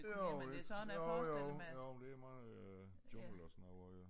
Jo jo jo jo det meget øh jungle og sådan noget øh